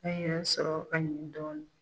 An y'a sɔrɔ an yeru dɔɔni